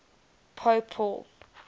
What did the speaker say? pope paul